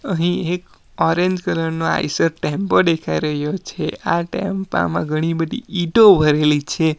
અહીં એક orange colour નો આઇસર ટેમ્પો દેખાઈ રહ્યો છે આ ટેમ્પા માં ઘણી બધી ઈંટો ભરેલી છે.